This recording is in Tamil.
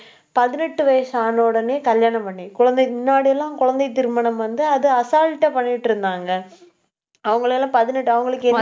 பதினெட்டு வயசு ஆன உடனே கல்யாணம் பண்ணி குழந்தைக்கு முன்னாடி எல்லாம் குழந்தை திருமணம் வந்து, அது assault ஆ பண்ணிட்டு இருந்தாங்க. அவங்களை எல்லாம்